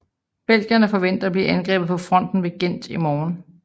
Belgierne forventer at blive angrebet på fronten ved Ghent i morgen